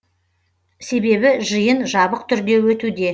себебі жиын жабық түрде өтуде